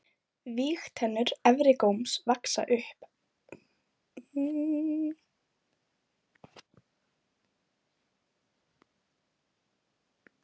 Vígtennur efri góms vaxa upp á við og í gegnum snoppuna.